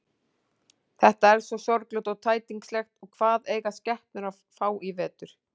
Þetta er svo sorglegt og tætingslegt og hvað eiga skepnurnar að fá í vetur.